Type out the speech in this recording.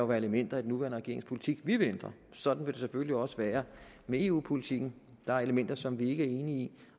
være elementer i den nuværende regerings politik vi vil ændre sådan vil det selvfølgelig også være med eu politikken der er elementer som vi ikke er enige i